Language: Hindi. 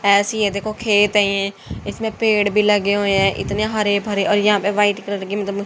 ऐसी है देखो खेत है इसमें पेड़ भी लगे हुए हैं। इतने हरे भरे और यहां पर व्हाइट कलर की मतलब--